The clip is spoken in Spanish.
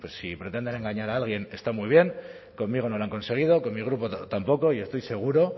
si pretenden engañar a alguien está muy bien conmigo no lo han conseguido con mi grupo tampoco y estoy seguro